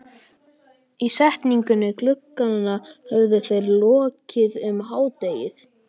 Ísetningu glugganna höfðu þeir lokið um hádegið.